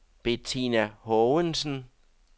Betina Haagensen